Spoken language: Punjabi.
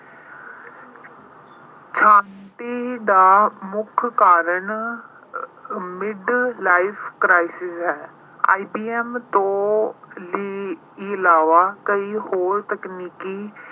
ਦਾ ਮੁੱਖ ਕਾਰਨ ਅਹ mid life crisis ਹੈ। IBM ਤੋਂ ਅਹ ਇਲਾਵਾ ਕਈ ਹੋਰ ਤਕਨੀਕੀ